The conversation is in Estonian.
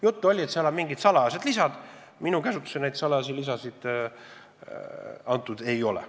Juttu oli, et seal on mingid salajased lisad, minu käsutusse neid salajasi lisasid antud ei ole.